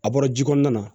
A bɔra ji kɔnɔna na